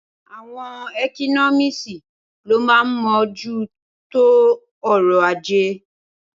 Awon ékínọmísì ló mà ń mó jù tó ọrọ àjẹ